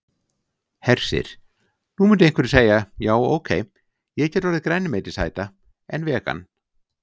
Hersir: Nú myndu einhverjir segja já ok, ég get orðið grænmetisæta en vegan?